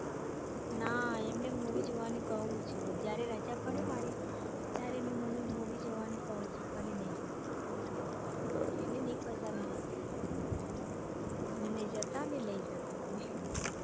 ના એમને movie જોવાનું કૌ છું હું જયારે રજા પડે મારી ત્યારે એને movie જોવાનું કૌ છું હું પણ એ નથી જતા એને નઈ પસંદ મુવી જોવાનું એટલે નઈ જતા ને મને નઈ લઇ જતા મને